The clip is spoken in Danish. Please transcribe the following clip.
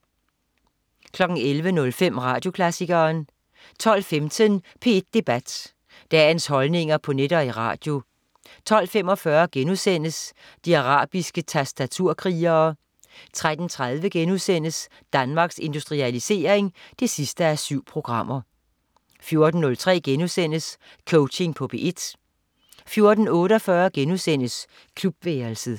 11.05 Radioklassikeren 12.15 P1 Debat. Dagens holdninger på net og i radio 12.45 De arabiske tastaturkrigere* 13.30 Danmarks Industrialisering 7:7* 14.03 Coaching på P1* 14.48 Klubværelset*